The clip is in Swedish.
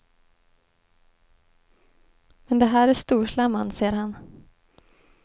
Men det här är storslam, anser han.